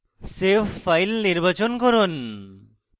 save file নির্বাচন করুন